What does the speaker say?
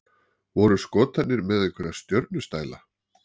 Voru Skotarnir með einhverja stjörnustæla?